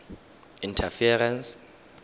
interference